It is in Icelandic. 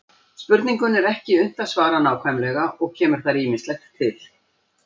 Spurningunni er ekki unnt að svara nákvæmlega og kemur þar ýmislegt til.